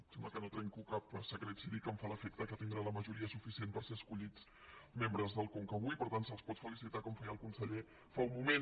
em sembla que no trenco cap secret si dic que em fa l’efecte que tindran la majoria suficient per ser escollits membres del con·ca avui per tant se’ls pot felicitar com feia el conse·ller fa un moment